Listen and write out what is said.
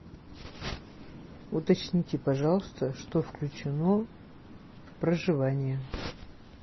уточните пожалуйста что включено в проживание